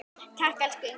Takk, elsku Inga.